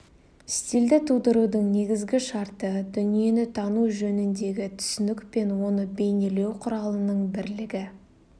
стильді тудырудың негізгі шарты дүниені тану жөніндегі түсінік пен оны бейнелеу құралының бірлігі